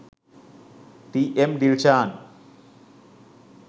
t.m. dilshan